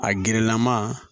A gerelama